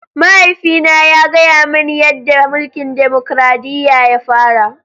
Mahaifina ya gaya mani yadda mulkin dimokuradiyya ya fara.